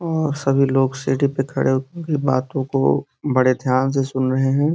और सभी लोग सीढ़ी पे खड़े होके बातों को बड़े ध्यान से सुन रहे हैं।